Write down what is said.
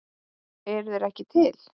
Eru þeir ekki til?